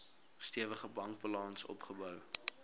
stewige bankbalans opgebou